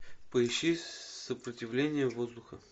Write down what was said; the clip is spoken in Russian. поищи сопротивление воздуха